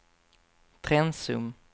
Trensum